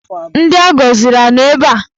Ndị agọziri anọ ebe a?